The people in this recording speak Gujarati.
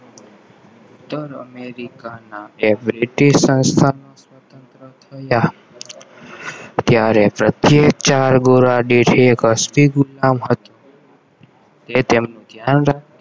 ઉત્તર અમેરિકાના એવરેટેડ સંસ્થામાં સ્વતંત્ર થયા ત્યારે પ્રત્યેક ચાર ગોરા દેશ એ તેમનું ધ્યાન રાખવા